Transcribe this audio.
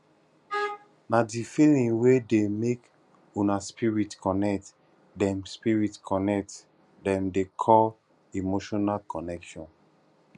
na di feeling wey dey make una spirit connect dem spirit connect dem dey call emotional connection